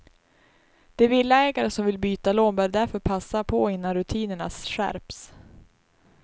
De villaägare som vill byta lån bör därför passa på innan rutinerna skärps.